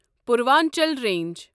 Purvanchal range